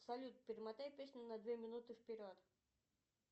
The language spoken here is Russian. салют перемотай песню на две минуты вперед